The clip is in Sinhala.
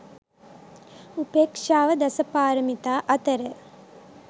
උපේක්‍ෂාව දස පාරමිතා අතර